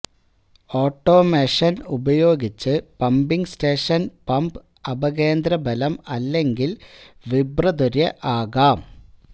automation ഉപയോഗിച്ച് pumping station pump അപകേന്ദ്രബലം അല്ലെങ്കിൽ വിബ്രതൊര്യ് ആകാം